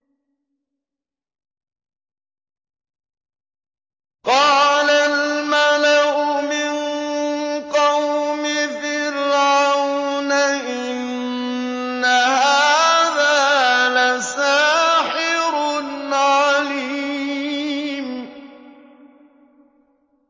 قَالَ الْمَلَأُ مِن قَوْمِ فِرْعَوْنَ إِنَّ هَٰذَا لَسَاحِرٌ عَلِيمٌ